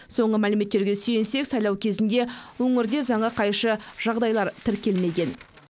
соңғы мәліметтерге сүйенсек сайлау кезінде өңірде заңға қайшы жағдайлар тіркелмеген